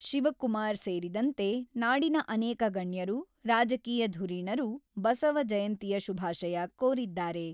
ಶಿವಕುಮಾರ್ ಸೇರಿದಂತೆ ನಾಡಿದ ಅನೇಕ ಗಣ್ಯರು, ರಾಜಕೀಯ ಧುರೀಣರು ಬಸವ ಜಯಂತಿಯ ಶುಭಾಶಯ ಕೋರಿದ್ದಾರೆ.